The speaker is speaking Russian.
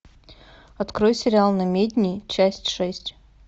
открой сериал намедни часть шесть